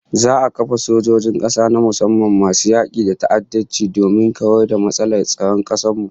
Za'a kafa sojojin kasa na musamman masu yaki da ta'addanci domin kawar da matsalar tsaron kasar mu